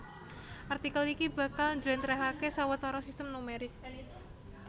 Artikel iki bakal njlèntrèhaké sawetara sistem numerik